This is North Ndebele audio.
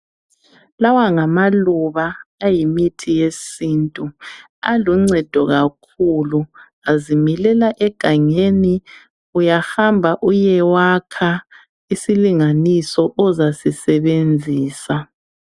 Lawa ngamaluba ayimithi yesintu. Aluncedo kakhulu, azimilela egangeni. Uyahamba uyewakha isilinganiso ozasisebenzisa.